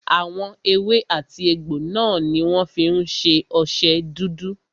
Àwọn èwe àti egbò náà ní wọ́n fí ń ṣe ọṣẹ dúdú.